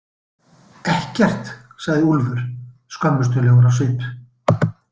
Ekkert, sagði Úlfur skömmustulegur á svip.